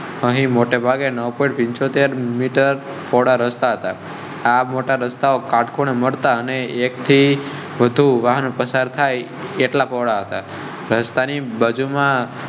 વહી મોટેભાગે નો પન ચો તેર મીટર રસ્તા. આટકોટ મળતા ને એકથી વધુ વાહન પસાર થાય એટલા પોહળા હતા. રસ્તા ની બાજુ માં